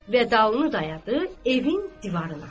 Və dalını dayadı evin divarına.